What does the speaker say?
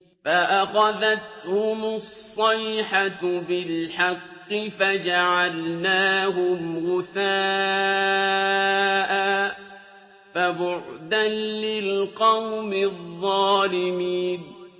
فَأَخَذَتْهُمُ الصَّيْحَةُ بِالْحَقِّ فَجَعَلْنَاهُمْ غُثَاءً ۚ فَبُعْدًا لِّلْقَوْمِ الظَّالِمِينَ